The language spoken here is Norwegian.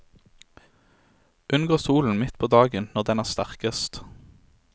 Unngå solen midt på dagen når den er sterkest.